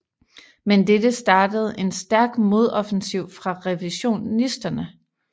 Men dette startede en stærk modoffensiv fra revisionisterne